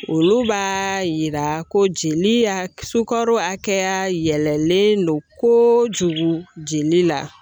Olu b'a yira ko jeli y'a, sukaro hakɛya yɛlɛlen don kojugu jeli la .